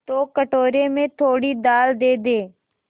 तो कटोरे में थोड़ी दाल दे दे